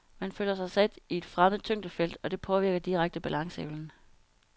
Man føler sig sat i et fremmed tyngdefelt, og det påvirker direkte balanceevnen.